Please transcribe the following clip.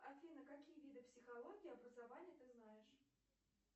афина какие виды психологии образования ты знаешь